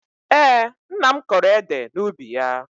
Ee, nna m kọrọ ede n'ubi ya